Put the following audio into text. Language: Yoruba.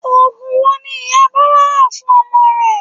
Oògùn wo ni ìyá Bọ́lá rà fún ọmọ rẹ̀?